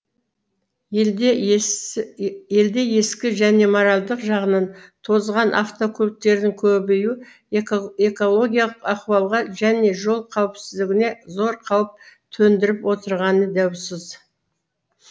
елде ескі және моральдық жағынан тозған автокөліктердің көбеюі экологиялық ахуалға және жол қауіпсіздігіне зор қауіп төндіріп отырғаны даусыз